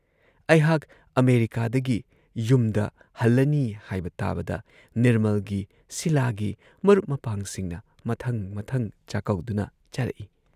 ꯑꯩꯍꯥꯥꯛ ꯑꯃꯦꯔꯤꯀꯥꯗꯒꯤ ꯌꯨꯝꯗ ꯍꯜꯂꯅꯤ ꯍꯥꯏꯕ ꯇꯥꯕꯗ ꯅꯤꯔꯃꯜꯒꯤ, ꯁꯤꯂꯥꯒꯤ ꯃꯔꯨꯞ ꯃꯄꯥꯡꯁꯤꯡꯅ ꯃꯊꯪ ꯃꯊꯪ ꯆꯥꯛꯀꯧꯗꯨꯅ ꯆꯥꯔꯛꯏ ꯫